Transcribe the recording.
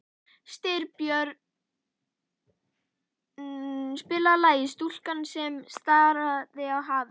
Styrbjörn, spilaðu lagið „Stúlkan sem starir á hafið“.